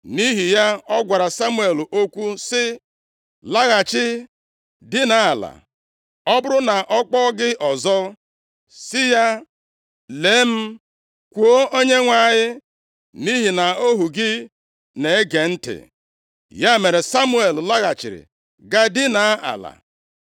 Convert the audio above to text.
nʼihi ya ọ gwara Samuel okwu sị, “Laghachi, dinaa ala. Ọ bụrụ na ọ kpọọ gị ọzọ, sị ya, ‘Lee m, kwuo, Onyenwe anyị, nʼihi na ohu gị na-ege ntị.’ ” Ya mere Samuel laghachiri gaa dinaa ala.